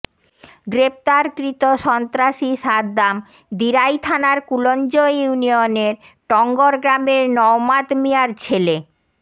গ্রেফতারকৃত সন্ত্রাসী সাদ্দাম দিরাই থানার কুলঞ্জ ইউনিয়নের টংগর গ্রামের নওমাদ মিয়ার ছেলে